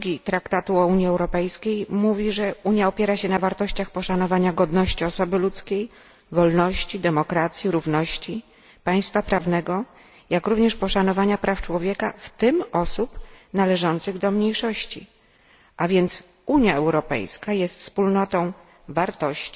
2 Traktatu o Unii Europejskiej mówi, że Unia opiera się na wartościach poszanowania godności osoby ludzkiej, wolności, demokracji, równości, państwa prawnego, jak również poszanowania praw człowieka, w tym osób należących do mniejszości, a więc Unia Europejska jest wspólnotą wartości